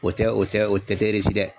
O tɛ o tɛ o tɛ dɛ.